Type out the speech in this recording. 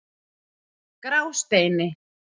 Grásteini